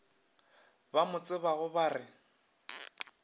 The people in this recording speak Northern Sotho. ba mo tsebago ba re